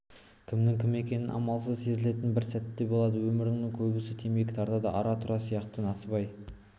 кімнің кім екені амалсыз сезілетін бір сәттер болады өмірде көбісі темекі тартады ара-тұра сияқты насыбай